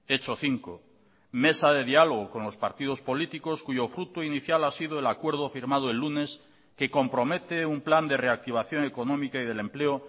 hecho cinco mesa de diálogo con los partidos políticos cuyo fruto inicial ha sido el acuerdo firmado el lunes que compromete un plan de reactivación económica y del empleo